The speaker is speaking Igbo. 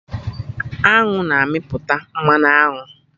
Aṅụ na-amịpụta Mmanụ aṅụ